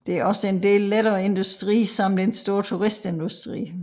Der er også en del lettere industri samt en stor turistindustri